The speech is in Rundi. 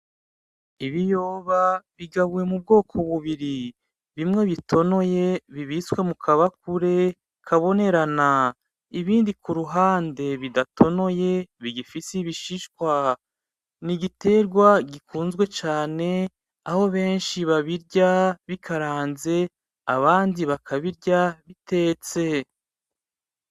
Ibiyoba bigabuye mu bwoko bubiri, bimwe bitonoye bibitswe mukabakure kabonerana, ibindi kuruhande bidatonoye bigifise ibishishwa. Nigiterwa gikunzwe cane aho benshi babirya bikaranze, abandi bakabirya bitetse.